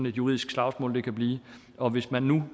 juridisk slagsmål kan blive og hvis man nu